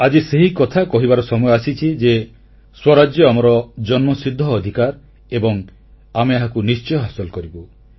ଆଜି ସେହିକଥା କହିବାର ସମୟ ଆସିଛି ଯେ ସ୍ୱରାଜ୍ୟ ଆମର ଜନ୍ମସିଦ୍ଧ ଅଧିକାର ଏବଂ ଆମେ ଏହାକୁ ନିଶ୍ଚୟ ହାସଲ କରିବୁ